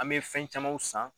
An bɛ fɛn camanw san.